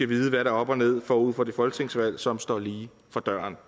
vide hvad der er op og ned forud for det folketingsvalg som står lige for døren